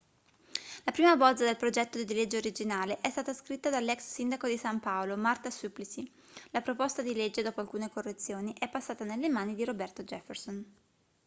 la prima bozza del progetto di legge originale è stata scritta dall'ex sindaco di san paolo marta suplicy la proposta di legge dopo alcune correzioni è passata nelle mani di roberto jefferson